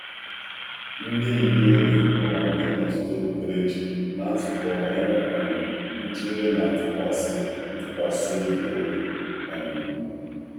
Ndị ndú ógbè kpọrọ ndị nnọchite okpukperechi na nzukọ banyere nchebe na ntụkwasị obi ógbè.